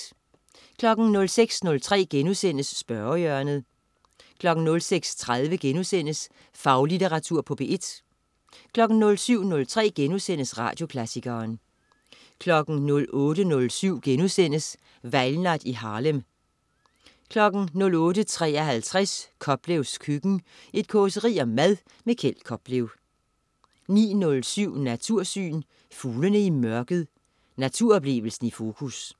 06.03 Spørgehjørnet* 06.30 Faglitteratur på P1* 07.03 Radioklassikeren* 08.07 Valgnat i Harlem* 08.53 Koplevs køkken. Et causeri om mad. Kjeld Koplev 09.07 Natursyn. Fuglene i mørket. Naturoplevelsen i fokus